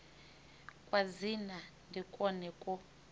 kwa dzina ndi kwone kwo